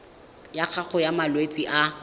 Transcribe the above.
ya gago ya malwetse a